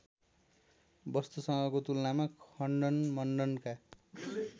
वस्तुसँगको तुलनामा खण्डनमण्डनका